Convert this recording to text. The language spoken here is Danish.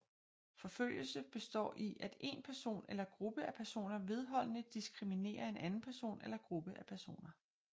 Forfølgelse består i at en person eller gruppe af personer vedholdende diskriminerer en anden person eller gruppe af personer